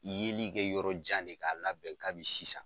Yeli kɛ yɔrɔ jan de k'a labɛn kabi sisan.